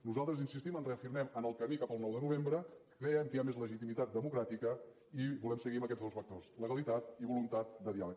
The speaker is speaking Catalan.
nosaltres hi insistim ens reafirmem en el camí cap al nou de novembre creiem que hi ha més legitimitat democràtica i volem seguir amb aquests dos vectors legalitat i voluntat de diàleg